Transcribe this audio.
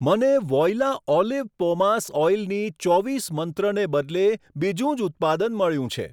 મને Voila olive pomace ઓઈલની ચોવીસ મંત્ર ને બદલે બીજું જ ઉત્પાદન મળ્યું છે.